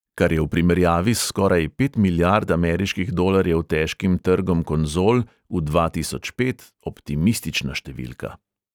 Kar je v primerjavi s skoraj pet milijard ameriških dolarjev 'težkim' trgom konzol v dva tisoč pet optimistična številka.